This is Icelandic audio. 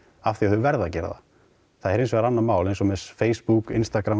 af því þau verða að gera það það er hinsvegar annað mál eins og með Facebook